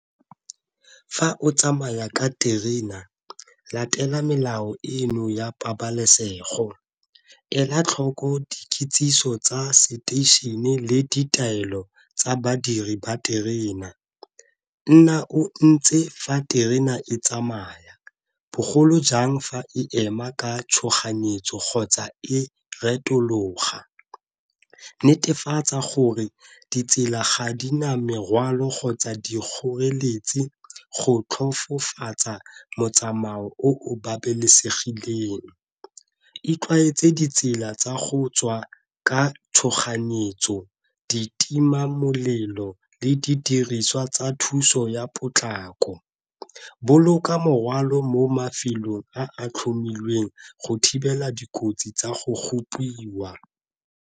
Fa o tsamaya ka terena latela melao eno ya pabalesego, ela tlhoko dikitsiso tsa seteišene le ditaelo tsa badiri ba terena, nna o ntse fa terena e tsamaya bogolo jang fa e ema ka tshoganyetso kgotsa e retologa, netefatsa gore ditsela ga di na merwalo kgotsa di kgoreletsi go tlhofofatsa motsamao o o babalesegileng, itlwaetsega ditsela tsa go tswa ka tshoganyetso, ditimamolelo le didiriswa tsa thuso ya potlako, boloka morwalo mo mafelong a a tlhomilweng go thibela dikotsi tsa go gopiwa.